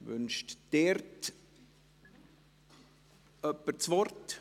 Wird das Wort dazu gewünscht?